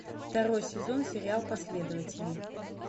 второй сезон сериал последователи